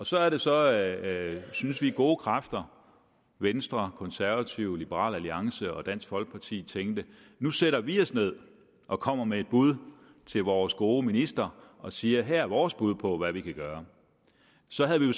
så er det så at synes vi gode kræfter venstre konservative liberal alliance og dansk folkeparti tænkte nu sætter vi os ned og kommer med et bud til vores gode minister og siger at her er vores bud på hvad vi kan gøre så havde vi